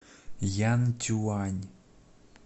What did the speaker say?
янцюань